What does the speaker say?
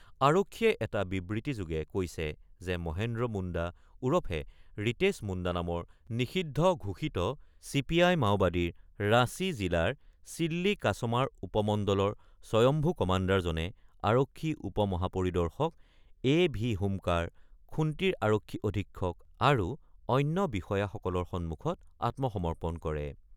আৰক্ষীয়ে এটা বিবৃতিযোগে কৈছে যে মহেন্দ্ৰ মুণ্ডা ওৰফে ৰিতেশ মুণ্ডা নামৰ নিষিদ্ধ ঘোষিত চি পি আই-মাওবাদীৰ ৰাঁচী জিলাৰ চিল্লি কাছমাৰ উপমণ্ডলৰ স্বয়ম্ভু কামাণ্ডাৰজনে আৰক্ষী উপ-মহাপৰিদৰ্শক এ ভি হোমকাৰ, খুন্তিৰ আৰক্ষী অধীক্ষক আৰু অন্য বিষয়াসকলৰ সন্মুখত আত্মসমৰ্পণ কৰে।